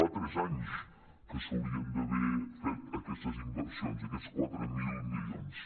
fa tres anys que s’haurien d’haver fet aquestes inversions aquests quatre mil milions